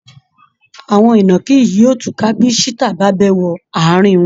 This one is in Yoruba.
Àwọn ìnàkí yìí yóò túká bí cheetah bá bẹ́ wọ ààrin wọn